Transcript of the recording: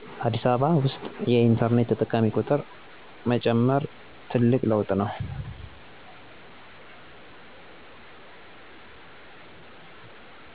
አዲስ አበባ ውስጥ የኢንተርኔት ተጠቃሚ ጥቁር መጨመር ትልቅ ለውጥ ነው።